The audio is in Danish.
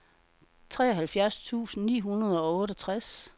treoghalvfjerds tusind ni hundrede og otteogtres